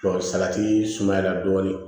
salati sumayala dɔɔnin